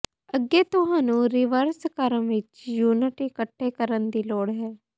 ਅੱਗੇ ਤੁਹਾਨੂੰ ਰਿਵਰਸ ਕ੍ਰਮ ਵਿੱਚ ਯੂਨਿਟ ਇਕੱਠੇ ਕਰਨ ਦੀ ਲੋੜ ਹੈ